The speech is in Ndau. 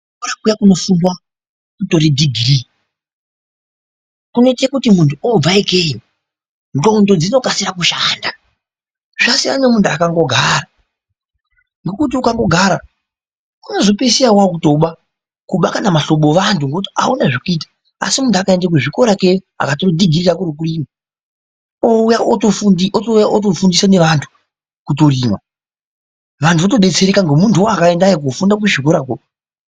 Ku zvikora kuya kuno fundwa kutora dhigiri kuno ite kuti muntu obva ikeyo ndxondo dzino kasira ku shanda zvasiyana ne muntu akango gara nekuti ukango gara unozo pesira waku toba kuba mahlobo evanhu nekuti awuna zveku ita asi muntu akaenda ku zvikora ikweyo aka tora dhigiri rake reku rima oto uya oto fundisa ne vantu kuto rima vantu voto detsereka ne muntu woo akaendayo kofunda ku zvikora ko.